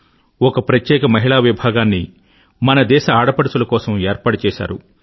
ఒక ప్రత్యేక మహిళా విభాగాన్ని మన దేశ ఆడపడుచుల కోసం ఏర్పాటు చేసారు